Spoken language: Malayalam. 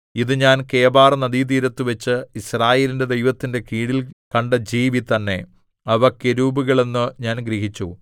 ഇത് ഞാൻ കെബാർനദീതീരത്തുവച്ച് യിസ്രായേലിന്റെ ദൈവത്തിന്റെ കീഴിൽ കണ്ട ജീവി തന്നെ അവ കെരൂബുകൾ എന്ന് ഞാൻ ഗ്രഹിച്ചു